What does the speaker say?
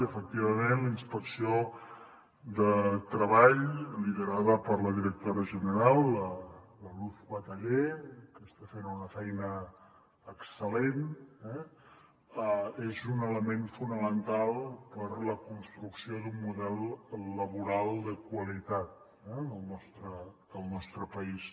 efectivament la inspecció de treball liderada per la directora general la luz bataller que està fent una feina excel·lent és un element fonamental per a la construcció d’un model laboral de qualitat al nostre país